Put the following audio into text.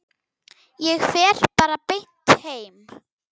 Ég fer bara beint heim.